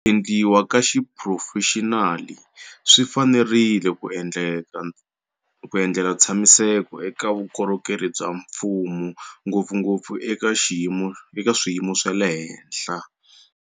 Ku endliwa ka xiphurofexinali swi fanerile ku endlela ntshamiseko eka vukorhokeri bya mfumo, ngopfungopfu eka swiyimo swa le henhla.